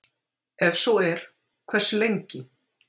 Ef svo er, hversu lengi?